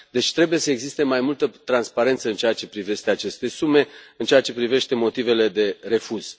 Deci trebuie să existe mai multă transparență în ceea ce privește aceste sume, în ceea ce privește motivele de refuz.